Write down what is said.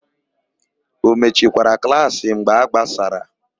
O mechikwara klaasị mgbe a gbasara?